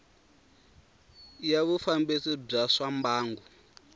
ya vufambisi bya swa mbangu